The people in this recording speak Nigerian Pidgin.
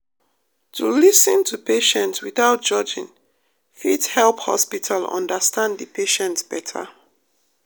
to lis ten to patient without judging fit help hospital understand de patient beta.